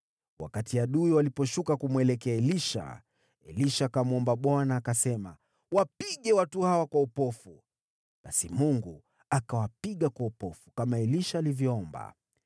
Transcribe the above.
Wakati adui waliposhuka kumwelekea, Elisha akamwomba Bwana : “Wapige watu hawa kwa upofu.” Basi Mungu akawapiga kwa upofu, kama Elisha alivyoomba.